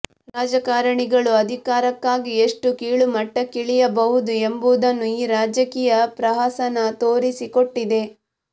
ರಾಜಕಾರಣಿಗಳು ಅಧಿಕಾರಕ್ಕಾಗಿ ಎಷ್ಟು ಕೀಳುಮಟ್ಟಕ್ಕಿಳಿಯಬಹುದು ಎಂಬುದನ್ನು ಈ ರಾಜಕೀಯ ಪ್ರಹಸನ ತೋರಿಸಿಕೊಟ್ಟಿದೆ